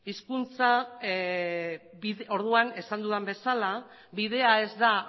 hizkuntza esan dudan bezala bidea ez da